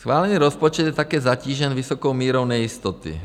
Schválený rozpočet je také zatížen vysokou mírou nejistoty.